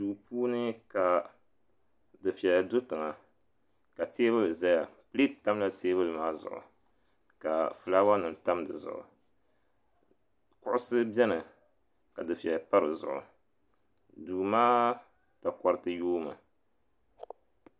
Duu puuni ka dufeya do tiŋa ka teebuli zaya pileeti tamla teebuli maa zuɣu ka filaawa nima tam di zuɣu kuɣusi beni ka dufeya pa di zuɣu duu maa takoriti yoomi.